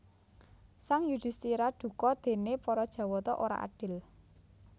Sang Yudhisthira duka déné para Jawata ora adil